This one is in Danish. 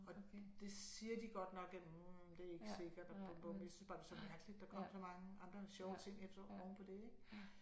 Og det siger de godt nok at hm det er ikke sikkert og bum bum jeg synes bare det er så mærkeligt at der kom så mange andre sjove ting efter oven på det ik